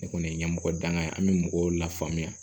Ne kɔni ye ɲɛmɔgɔ danga ye an bɛ mɔgɔw lafaamuya